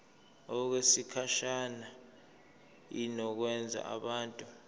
okwesikhashana inikezwa abantu